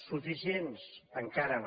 suficients encara no